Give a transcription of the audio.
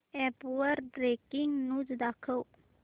app वर breaking news दाखव